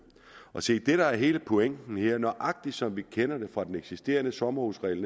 og se det der er hele pointen her nøjagtig som vi kender det fra den eksisterende sommerhusregel